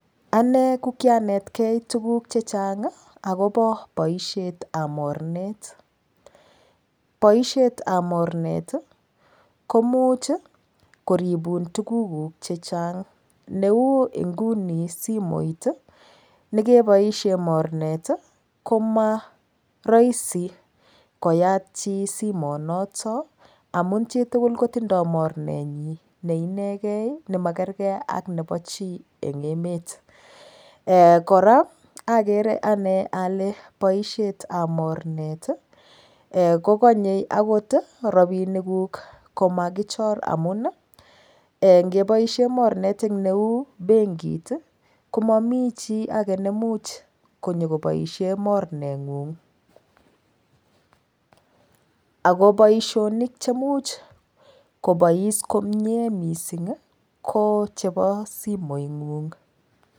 Ane kianetgei tuguk chechang akoba baishet ab bornet baishet ab bornet komuch koribun tuguk chechang Neu nguni simoit koit kebaishen bornet komarahisi koyaak ak chi Simo nitonamun chitugul koitindoi mornet nyin neineken nemakerkei ak Nebo chi en emet koraa agere Ane Kole baishet ab mornet kokanye okot rabinik guk komakichor amun ngeoaishenbmornet Neu benkit komami chi age Neu chemornet ngung akobaishoni komuch kobaishen komie kochebo somiongung